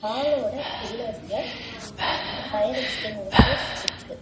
வாலோட பில்லர்ஸ்ல ஒரு fire extinguishers இருக்கு.